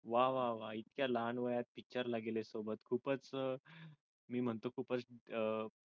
वाह वाह वाह इतक्या लहान वयात picture ला गेले होते सोबत खूपच मी म्हणतो खूपच अह